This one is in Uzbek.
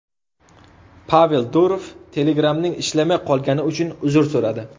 Pavel Durov Telegram’ning ishlamay qolgani uchun uzr so‘radi.